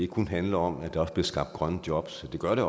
kun handler om at der bliver skabt grønne jobs det gør der